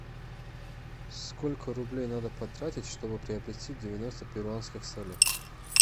сколько рублей надо потратить чтобы приобрести девяносто перуанских солей